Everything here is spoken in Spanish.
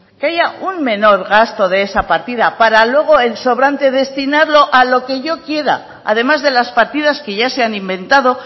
que haya un menor gasto de esa partida para luego el sobrante destinarlo a lo que yo quiera además de las partidas que ya se han inventado